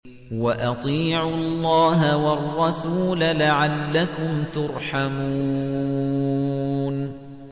وَأَطِيعُوا اللَّهَ وَالرَّسُولَ لَعَلَّكُمْ تُرْحَمُونَ